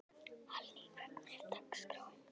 Hallný, hvernig er dagskráin?